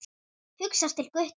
Hugsar til Gutta.